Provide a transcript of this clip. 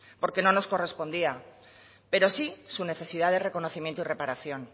porque no nos correspondía pero sí su necesidad de reconocimiento y reparación